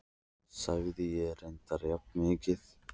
sagði ég og reyndi að jafna mig.